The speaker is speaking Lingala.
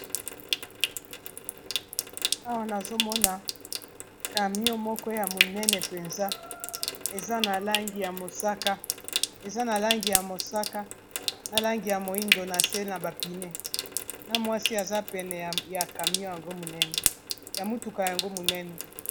Awa nazomona camion moko ya monene mpenza eza na langi ya mosaka, na langi ya moindo, na se na bapine na mwasi aza pene ya camion ya motuka yango monene.